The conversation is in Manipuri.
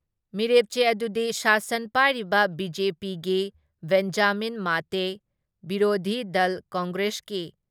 ꯃꯤꯔꯦꯞꯆꯦ ꯑꯗꯨꯗꯤ ꯁꯥꯁꯟ ꯄꯥꯏꯔꯤꯕ ꯕꯤ ꯖꯦ ꯄꯤꯒꯤ ꯕꯦꯟꯖꯥꯃꯤꯟ ꯃꯥꯇꯦ, ꯕꯤꯔꯣꯙꯤ ꯗꯜ ꯀꯪꯒ꯭ꯔꯦꯁꯀꯤ